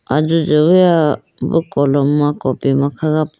ajojo juwuya bo kolom ma copy ma kha po.